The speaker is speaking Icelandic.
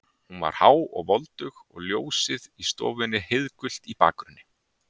Hún var há og voldug og ljósið í stofunni heiðgult í bakgrunni.